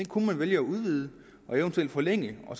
kunne man vælge at udvide og eventuelt forlænge for